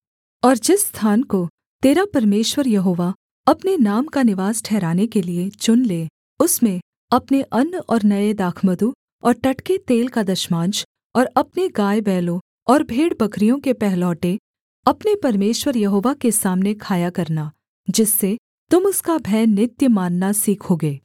और जिस स्थान को तेरा परमेश्वर यहोवा अपने नाम का निवास ठहराने के लिये चुन ले उसमें अपने अन्न और नये दाखमधु और टटके तेल का दशमांश और अपने गायबैलों और भेड़बकरियों के पहलौठे अपने परमेश्वर यहोवा के सामने खाया करना जिससे तुम उसका भय नित्य मानना सीखोगे